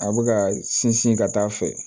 A bɛ ka sinsin ka taa a fɛ